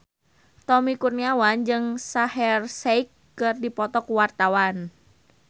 Tommy Kurniawan jeung Shaheer Sheikh keur dipoto ku wartawan